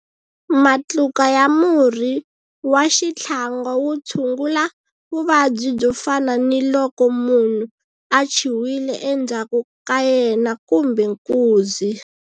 Matluka ya murhi wa xitlhangwa wu tshungula vuvabyi byo fana ni loko munhu a chiwile endzhaku ka yena kumbe nkuzi.